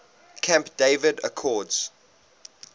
camp david accords